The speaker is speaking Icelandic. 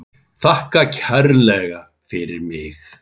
Þakka kærlega fyrir mig.